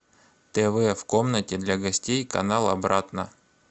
тв в комнате для гостей канал обратно